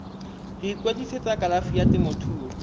go ikwadisetsa kalafi ya temothuo